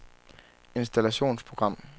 installationsprogram